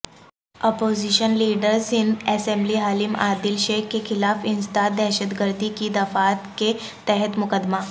opposition leader Sindh assembly Haleem Adil Sheikh کیخلاف انسداد دہشتگردی کی دفعات کے تحت مقدمہ